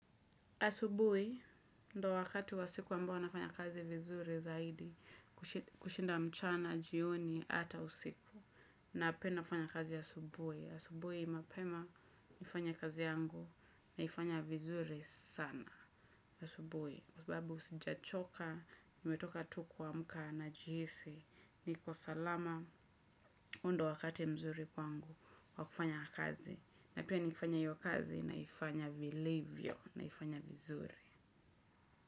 Asubuhi, ndo wakati wa siku ambao nafanya kazi vizuri zaidi. Kushinda mchana, jioni hata usiku. Na pia nafanya kazi asubuhi. Asubuhi mapema, nifanya kazi yangu. Naifanya vizuri sana. Asubuhi, kwa sababu usijachoka, nimetoka tu kuamka najihisi, niko salama. Huo ndo wakati mzuri kwangu, wa kufanya kazi. Na pia nikifanya iyo kazi, naifanya vilivyo, naifanya vizuri.